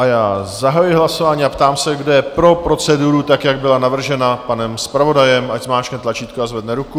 A já zahajuji hlasování a ptám se, kdo je pro proceduru, tak jak byla navržena panem zpravodajem, ať zmáčkne tlačítko a zvedne ruku.